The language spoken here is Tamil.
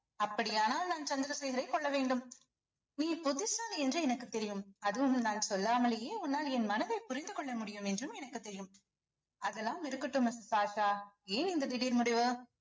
அப்படியானால் நான் சந்திரசேகரை கொல்ல வேண்டும் நீ புத்திசாலி என்று எனக்கு தெரியும் அதுவும் நான் சொல்லாமலேயே உன்னால் என் மனதை புரிந்து கொள்ள முடியும் என்றும் எனக்கு தெரியும் அதெல்லாம் இருக்கட்டும் missus ஆஷா ஏன் இந்த திடீர் முடிவு